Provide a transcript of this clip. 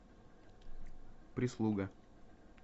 прислуга